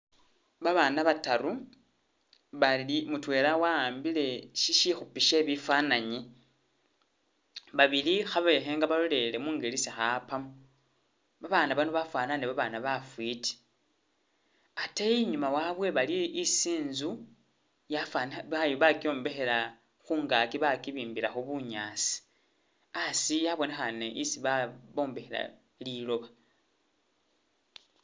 Babana bataru bali mutwela wa'ambile shishikhupi she bifananyi, babili khabekhenga balolele mungeli isi kha'apamo, babana bano bafanane babana bafiti, ate inyuma wabwe bali isi inzu yafanikha ba ba bakyombekhela khungaaki bakibimbilakho bunyaasi, asi abonekhane isi ba bombekhela liloba